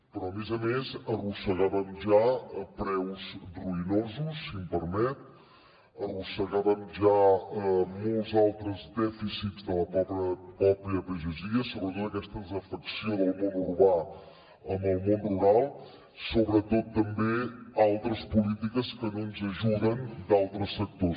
però a més a més arrossegàvem ja preus ruïnosos si m’ho permet arrossegàvem ja molts altres dèficits de la pròpia pagesia sobretot aquesta desafecció del món urbà amb el món rural sobretot també altres polítiques que no ens ajuden d’altres sectors